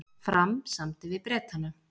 Fram samdi við Bretana